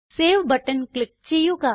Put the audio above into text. save button click ചെയ്യുക